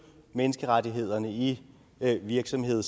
menneskerettighederne i virksomheder